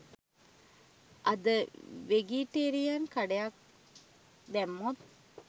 අද වෙගිටේරියන් කඩයක් දැම්මොත්